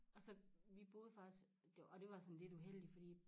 Og så vi boede faktisk og det var sådan lidt uheldigt fordi